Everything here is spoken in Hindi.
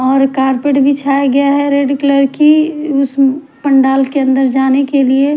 और कारपेट बिछाया गया है रेड कलर की उस पंडाल के अन्दर जाने के लिए --